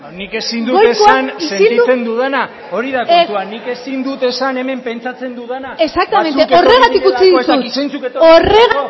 nik ezin dut esan sentitzen dudana hori da kontua nik ezin dut esan hemen pentsatzen dudana batzuk etorri direlako exactamente horregatik utzi dizut horregatik utzi dizut ez dakit zeintzuk etorri direlako